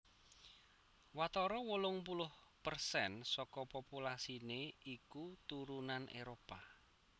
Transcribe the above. Watara wolung puluh persen saka populasiné iku turunan Éropah